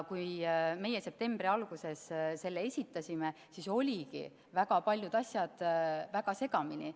Kui meie septembri alguses selle esitasime, siis olidki väga paljud asjad väga segamini.